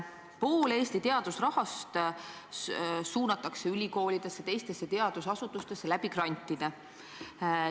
Pool Eesti teadusrahast suunatakse ülikoolidesse ja teistesse teadusasutustesse grantidena.